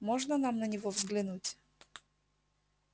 можно нам на него взглянуть